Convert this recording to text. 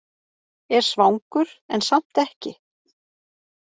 Er svangur en samt ekki!